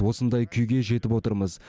осындай күйге жетіп отырмыз